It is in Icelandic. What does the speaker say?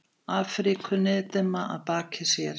Afríku niðdimma að baki sér.